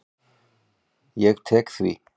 Ég tek því.